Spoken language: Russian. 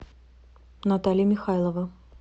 наталья михайлова